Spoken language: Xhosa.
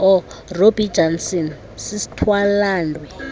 robbie jansen sisthwalandwe